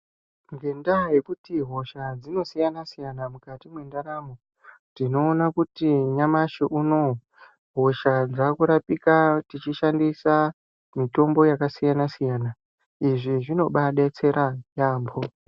Ngendaa yekuti hosha dzinosiyana siyana mukati mwendaramo tinoona kuti nyamashi unowu hosha dzakurapika tichishandisa mitombo yakasiyana siyana. Izvi zvinobadetsera yaamho.